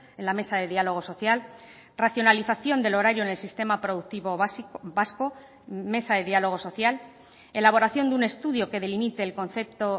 en la mesa de diálogo social racionalización del horario en el sistema productivo vasco mesa de diálogo social elaboración de un estudio que delimite el concepto